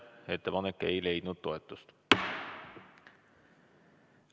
Ettepanek ei leidnud toetust.